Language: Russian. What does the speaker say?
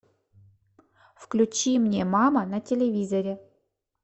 включи мне мама на телевизоре